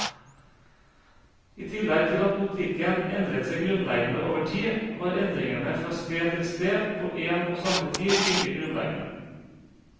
I tillegg til at politikken endret seg grunnleggende over tid, var endringene fra sted til sted på en og samme tid like grunnleggende.